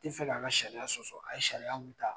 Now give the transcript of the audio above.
Ti fɛ ka ka sariya sɔsɔ a ye sariya mun taa